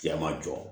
Cɛ ma jɔ